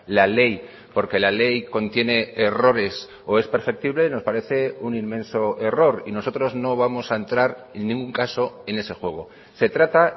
la ley porque la ley contiene errores o es perceptible nos parece un inmenso error y nosotros no vamos a entrar en ningún caso en ese juego se trata